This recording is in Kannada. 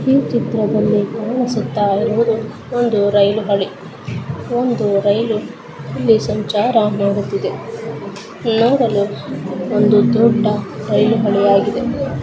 ಈ ಚಿತ್ರದಲ್ಲಿ ಕಾಣಿಸುತ್ತಾ ಇರುವುದು ಒಂದು ರೈಲು ಹಳಿ ಒಂದು ರೈಲು ಇಲ್ಲಿ ಸಂಚಾರ ಮಾಡುತ್ತಿದೆ. ನೋಡಲು ಒಂದು ದೊಡ್ಡ ರೈಲು ಹಳಿಯಾಗಿದೆ.